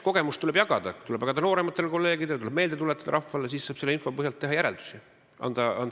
Tuleb jagada noorematele kolleegidele kogemusi, tuleb rahvale meelde tuletada, selle info põhjalt saab teha järeldusi.